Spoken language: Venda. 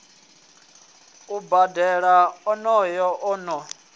u bambela onoyo o ḓo